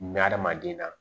adamaden na